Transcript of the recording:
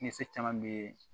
Kisɛ caman be yen